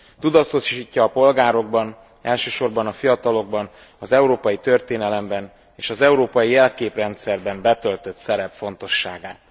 Tudatosítja a polgárokban, elsősorban a fiatalokban, az európai történelemben és az európai jelképrendszerben betöltött szerep fontosságát.